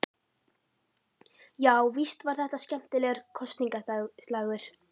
Já, víst var þetta skemmtilegur kosningaslagur.